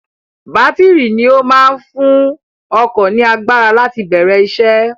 Bátìrì ni ó máa ń fún ọkọ̀ ní agbára láti bẹ̀rẹ̀ isẹ́.